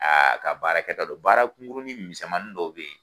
A ka baara kɛta do baara kunkurunin misɛnmani dɔw bɛ ye